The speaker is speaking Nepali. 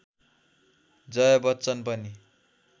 जया बच्चन पनि